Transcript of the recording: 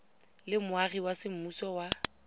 le moagi wa semmuso wa